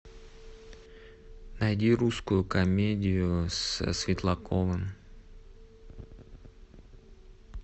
найди русскую комедию со светлаковым